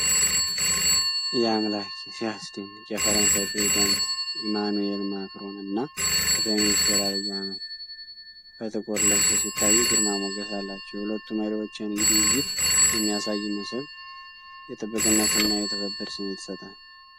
ያአምላኬ! ሲያስደንቅ! የፈረንሳይ ፕሬዝዳንት ኢማኑኤል ማክሮን እና ጠቅላይ ሚኒስትር ዐብይ አህመድ በጥቁር ልብስ ሲታዩ ግርማ ሞገስ አላቸው። የሁለቱ መሪዎች የንግድ ውይይት የሚያሳይ ምስል ነው። የጥብቅነት እና የትብብር ስሜት ይሰጣል!